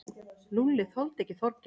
Lúlli þoldi ekki Þorgeir.